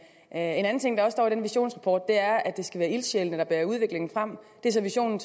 en anden ting der også står i den visionsrapport er at det skal være ildsjælene der bærer udviklingen frem det er så visionen